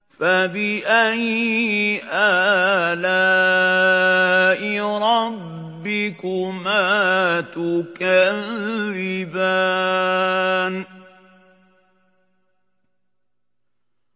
فَبِأَيِّ آلَاءِ رَبِّكُمَا تُكَذِّبَانِ